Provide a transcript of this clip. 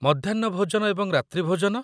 ମଧ୍ୟାହ୍ନ ଭୋଜନ ଏବଂ ରାତ୍ରୀ ଭୋଜନ?